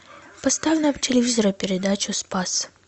поставь на телевизоре передачу спас